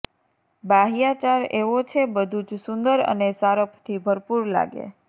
બાહ્યાચાર એવો છે બધું જ સુંદર અને સારપથી ભરપૂર લાગે